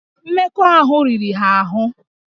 Mmekọahụ riri ha ahụ